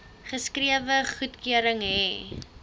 geskrewe goedkeuring hê